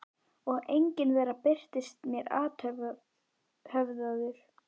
Og enginn þeirra birtist mér afhöfðaður.